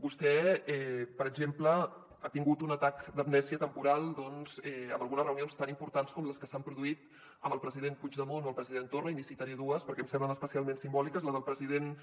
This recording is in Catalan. vostè per exemple ha tingut un atac d’amnèsia temporal amb algunes reunions tan importants com les que s’han produït amb el president puigdemont o el president torra i n’hi citaré dues perquè em semblen especialment simbòliques la del president